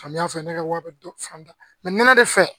Samiya fɛ ne ka wari bɛ fan da nɛnɛ de fɛ